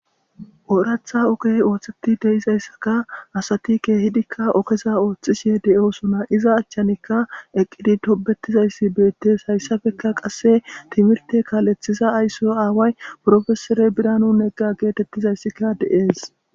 Ooraththa ogey ooththeti de'izayssa asati ogen biidikka ogeza ooththishe de'osona. Iza achchanikka eqqidi tobbetizayssi beettes. Hayssappekka qasse timirte kaaleththiza ayso aaway piropeesere Biranu Negga geetettizayssika de'es.